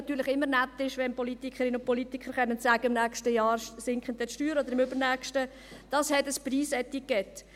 Es ist natürlich immer nett ist, wenn Politikerinnen und Politiker sagen können, im nächsten oder übernächsten Jahr würden dann die Steuern sinken.